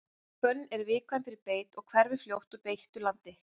hvönn er viðkvæm fyrir beit og hverfur fljótt úr beittu landi